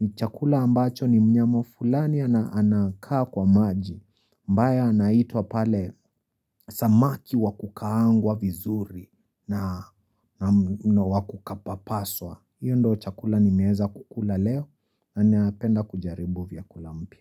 ni chakula ambacho ni mnyama fulani anakaa kwa maji ambaye anaitwa pale samaki wa kukaangwa vizuri na wa kupapaswa hiyo ndio chakula nimeweza kukula leo na napenda kujaribu vyakula mpya.